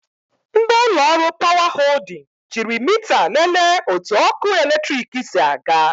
Ndị ụlọ ọrụ 'Power Holding' jiiri mita lelee otu ọkụ eletrik si aga.